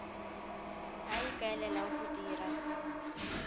a a ikaelelang go dira